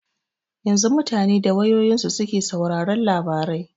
Yanzu mutane da wayoyinsu suke sauraron labarai.